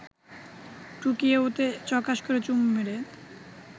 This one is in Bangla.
টুকিয়ে ওতে চকাশ করে চুমু মেরে